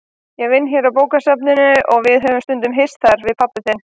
Ég vinn hérna á bókasafninu og við höfum stundum hist þar, við pabbi þinn.